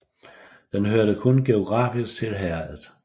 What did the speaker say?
Den hørte kun geografisk til herredet